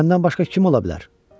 Məndən başqa kim ola bilər?